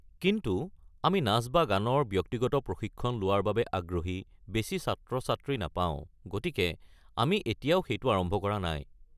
কিন্তু আমি নাচ বা গানৰ ব্যক্তিগত প্ৰশিক্ষণ লোৱাৰ বাবে আগ্ৰহী বেছি ছাত্ৰ-ছাত্ৰী নাপাও, গতিকে আমি এতিয়াও সেইটো আৰম্ভ কৰা নাই।